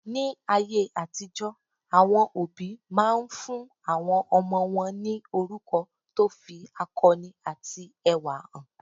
Ní ayé àtijó, àwọn òbí máa ń fún àwọn ọmọ wọn ní orúkọ tó fi akọni àti ẹwà hàn.